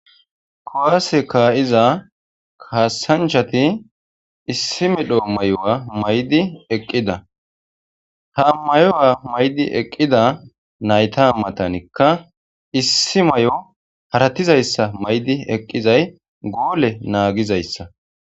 Kowaase kaa'iza kaasanchati issi medhoo may'owa maydi eqqida ha mayowa maydi eqqida nayta ammatanikka issi may'o haratizayssa maydi eqqizay goole naagizayssa.